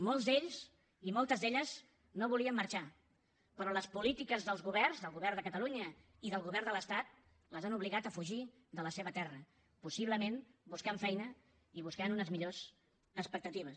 molts d’ells i moltes d’elles no volien marxar però les polítiques dels governs del govern de catalunya i del govern de l’estat els han obligat a fugir de la seva terra possiblement buscant feina i buscant unes millors expectatives